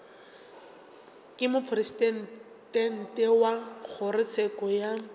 ke mopresidente wa kgorotsheko ya